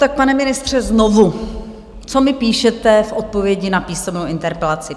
Tak pane ministře, znovu, co mi píšete v odpovědi na písemnou interpelaci.